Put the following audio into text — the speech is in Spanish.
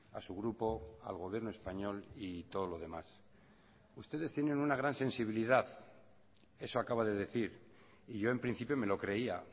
a su grupo al gobierno español y todo lo demás ustedes tienen una gran sensibilidad eso acaba de decir y yo en principio me lo creía